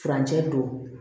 Furancɛ don